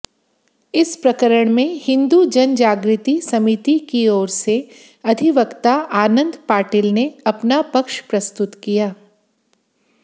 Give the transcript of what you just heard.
इस प्रकरणमें हिन्दू जनजागृति समितिकी ओरसे अधिवक्ता आनन्द पाटिलने अपना पक्ष प्रस्तुत किया